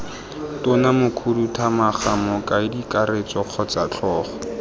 tona mokhuduthamaga mokaedikakaretso kgotsa tlhogo